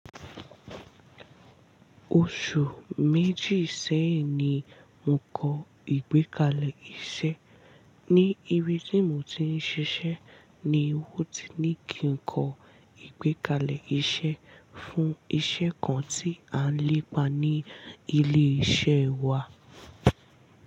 Oṣù méjì sẹ́yìn ni mò ń kọ ìgbékalẹ̀ iṣẹ́. Ní ibi tí mò ń ti ń ṣiṣẹ́ ni wọ́n ti ní kí n kọ ìgbékalẹ̀ iṣẹ́ fún iṣẹ́ kan tí à ń lépa ní ilé iṣẹ́ wa.